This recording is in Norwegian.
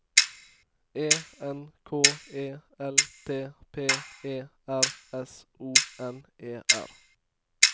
E N K E L T P E R S O N E R